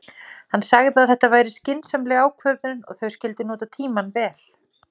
Hann sagði að þetta væri skynsamleg ákvörðun og þau skyldu nota tímann vel.